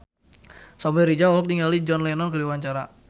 Samuel Rizal olohok ningali John Lennon keur diwawancara